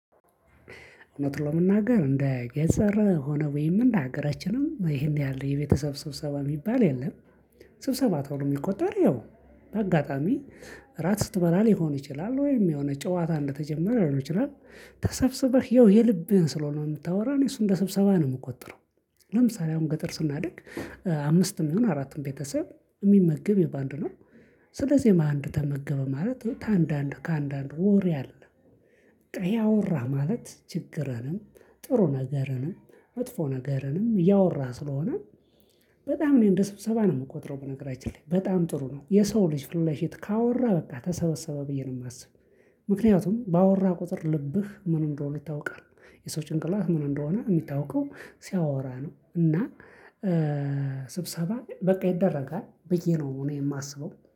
እውነት ለመናገር እንደ ገንዘብ ሆነ ወይም እንደ ሀገራችንም ይሄን ያህል የቤተሰብ ስብሰባ የሚባል የለም። ስብሰባ ተብሎ የሚቆጠር ያው በአጋጣሚ ራት ስትበላ ሊሆን ይችላል ወይም የሆነ ጨዋታ እንደተጀመረ ሊሆን ይችላል። ተሰብስበህ የልብህን ስለሆነ የምታወራ እኔ እሱ እንደ ስብሰባ ነው የምቆጥረው። ለምሳሌ አሁን ገጠር ስናደግ አምስትም ይሁን አራትም ቤተሰብ የሚመግብ ያው ባንድ ነው። ስለዚህ ባንድ ተመገበ ማለት ከአንዳንዱ ከአንዳንዱ ወሬ አለ ጥብቅ ያወራ ማለት ችግርንም ጥሩ ነገርንም አጥፎ ነገርንም እያወራህ ስለሆነ። በጣም እኔ እንደ ስብሰባ ነው የምቆጥረው በነገራችን ላይ በጣም ጥሩ ነው የሰው ልጅ ፊትለፊት ካወራ በቃ ተሰበሰበ ብዬ ነው የማስብ። ምክንያቱም ባወራህ ቁጥር ልብህ ምን እንደሆነ ይታወቃል የሰው ጭንቅላት ምን እንደሆነ የሚታወቀው ሲያወራ ነው እና። ስብሰባ በቃ ይደረጋል ብዬ ነው እኔ የማስበው